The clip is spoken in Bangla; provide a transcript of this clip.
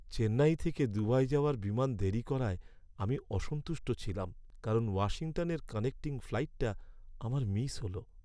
চেন্নাই থেকে দুবাই যাওয়ার বিমান দেরি করায় আমি অসন্তুষ্ট ছিলাম কারণ ওয়াশিংটনের কানেক্টিং ফ্লাইটটা আমার মিস হল।